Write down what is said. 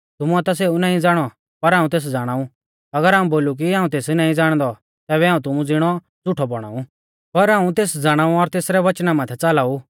तुमुऐ ता सेऊ नाईं ज़ाणौ पर हाऊं तेस ज़ाणाऊ अगर हाऊं बोलु कि हाऊं तेस नाईं ज़ाणदौ तैबै हाऊं तुमु ज़िणौ झ़ुठौ बौणा ऊ पर हाऊं तेस ज़ाणाऊ और तेसरै वचना माथै च़ालाऊ